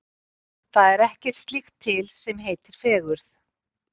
Það er ekkert slíkt til sem heitir fegurð.